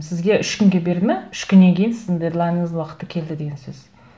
сізге үш күнге берді ме үш күннен кейін сіздің дедлайныңыз уақыты келді деген сөз